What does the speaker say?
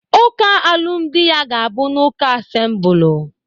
Uka alumdị ya ga-abụ n'uka Asembụlu.